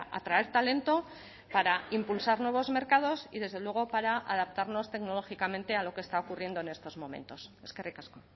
atraer talento para impulsar nuevos mercados y desde luego para adaptarnos tecnológicamente a lo que está ocurriendo en estos momentos eskerrik asko